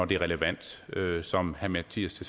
det er relevant som herre mattias